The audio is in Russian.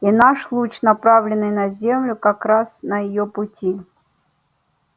и наш луч направленный на землю как раз на её пути